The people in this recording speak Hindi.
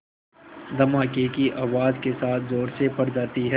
धमाके की आवाज़ के साथ ज़ोर से फट जाती है